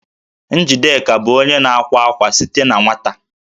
Njideka bụ onye na-akwa akwa site na nwata